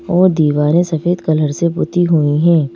और दीवारें सफेद कलर से बुती हुई हैं।